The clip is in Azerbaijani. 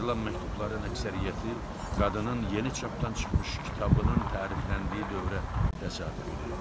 Yazılan məktubların əksəriyyəti qadının yeni çapdan çıxmış kitabının tərifləndiyi dövrə təsadüf edirdi.